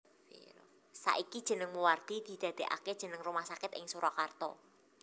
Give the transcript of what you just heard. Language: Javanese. Saiki jeneng Moewardi didadekake jeneng Rumah Sakit ing Surakarta